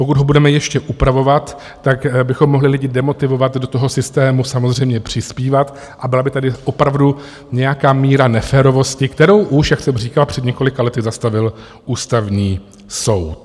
Pokud ho budeme ještě upravovat, tak bychom mohli lidi demotivovat do toho systému samozřejmě přispívat a byla by tady opravdu nějaká míra neférovosti, kterou už, jak jsem říkal, před několika lety zastavil Ústavní soud.